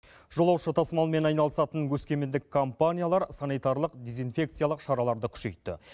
жолаушы тасымалымен айналысатын өскемендік компаниялар санитарлық дезинфекциялық шараларды күшейтті